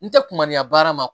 N tɛ kuma ni ya baara ma